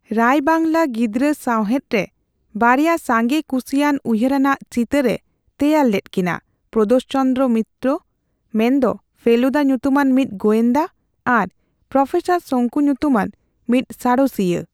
ᱨᱟᱭ ᱵᱟᱝᱞᱟ ᱜᱤᱫᱽᱨᱟᱹ ᱥᱟᱣᱦᱮᱫ ᱨᱮ ᱵᱟᱨᱭᱟ ᱥᱟᱸᱜᱮ ᱠᱩᱥᱤᱭᱟᱱ ᱩᱭᱦᱟᱹᱨᱟᱱᱟᱜ ᱪᱤᱛᱟᱹᱨᱼᱮ ᱛᱮᱭᱟᱨ ᱞᱮᱫ ᱠᱤᱱᱟ ᱼᱯᱨᱚᱫᱳᱥ ᱪᱚᱱᱫᱨᱚ ᱢᱤᱛᱛᱨᱚ, ᱢᱮᱱᱫᱚ ᱯᱷᱮᱞᱩᱫᱟ ᱧᱩᱛᱩᱢᱟᱱ ᱢᱤᱫ ᱜᱚᱸᱭᱫᱟ ᱟᱨ ᱯᱨᱚᱯᱷᱮᱥᱟᱨ ᱥᱚᱝᱠᱩ ᱧᱩᱛᱩᱢᱟᱱ ᱢᱤᱫ ᱥᱟᱬᱮᱥᱤᱭᱟᱹ ᱾